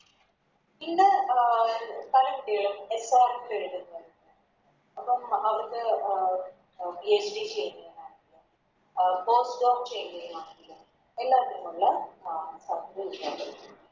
ഇന്ന് അഹ് പല കുട്ടികളും ARS എഴുതുന്നുണ്ട് അപ്പോം അവരുടെ അഹ് PhD ചെയ്യാനാണെങ്കിലും ചെയ്യാനാണെങ്കിലും എല്ലാത്തിനുമുള്ള